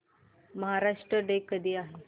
Maharashtra day कधी आहे